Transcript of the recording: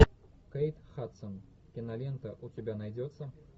кейт хадсон кинолента у тебя найдется